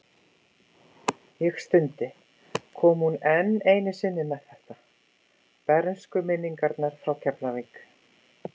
Ég stundi, kom hún enn einu sinni með þetta, bernskuminningarnar frá Keflavík.